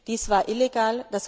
Dies war illegal.